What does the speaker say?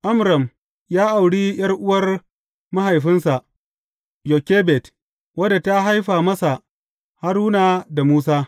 Amram ya auri ’yar’uwar mahaifinsa Yokebed, wadda ta haifa masa Haruna da Musa.